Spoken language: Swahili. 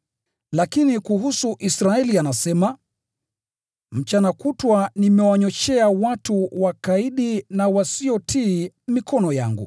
Lakini kuhusu Israeli anasema, “Mchana kutwa nimewanyooshea watu wakaidi na wasiotii mikono yangu.”